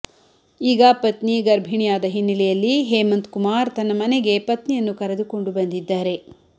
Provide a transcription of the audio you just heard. ಈಗ ಪತ್ನಿ ಗರ್ಭಿಣಿಯಾದ ಹಿನ್ನೆಲೆಯಲ್ಲಿ ಹೇಮಂತ್ ಕುಮಾರ್ ತನ್ನ ಮನೆಗೆ ಪತ್ನಿಯನ್ನು ಕರೆದುಕೊಂಡು ಬಂದಿದ್ದಾರೆ